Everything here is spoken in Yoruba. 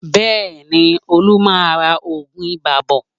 Bẹ́ẹ̀ni, Olú máa ra oògùn ibà bọ̀